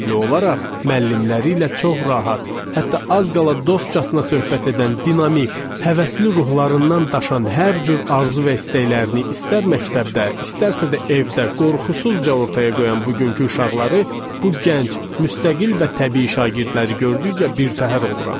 müəllimləri ilə çox rahat, hətta az qala dostcasına söhbət edən dinamik, həvəsli ruhlarından daşan hər cür arzu və istəklərini istər məktəbdə, istərsə də evdə qorxusuzca ortaya qoyan bugünkü uşaqları, bu gənc, müstəqil və təbii şagirdləri gördükcə birtəhər oluram.